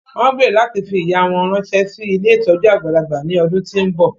Wọ́n gbèrò láti fi ìyà wọn ránṣẹ́ sí ilé ìtọ́jú àgbàlagbà ní ọdún tí ń bọ̀